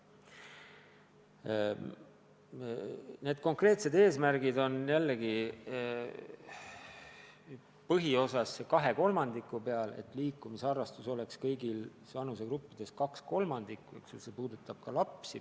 Need konkreetsed eesmärgid on jällegi põhiosas suunatud 2/3-le: et liikumisharrastus hõlmaks kõigis vanusegruppides 2/3 inimestest, see puudutab ka lapsi.